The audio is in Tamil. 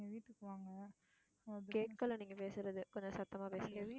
ஹம் கேக்கல நீங்க பேசுறது கொஞ்சம் சத்தமா பேசுங்க.